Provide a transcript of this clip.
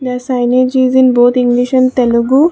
the signs is in both english and telugu.